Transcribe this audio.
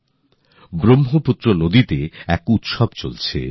তিনি লিখেছেন ব্রহ্মপুত্র নদে একটি উৎসব চলছে